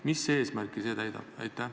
Mis eesmärki see täidab?